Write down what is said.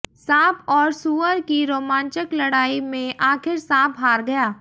सांप और सूअर की रोमांचक लड़ाई में आखिर सांप हार गया